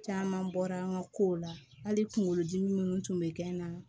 Caman bɔra an ka kow la hali kunkolo dimi minnu tun bɛ kɛ n na